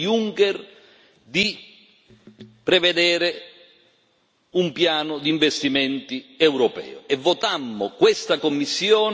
un piano di investimenti europeo e votammo questa Commissione sulla base anche e soprattutto di questo impegno.